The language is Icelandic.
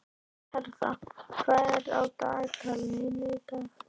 Hertha, hvað er í dagatalinu í dag?